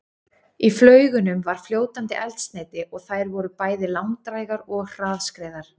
Í flaugunum var fljótandi eldsneyti og voru þær bæði langdrægar og hraðskreiðar.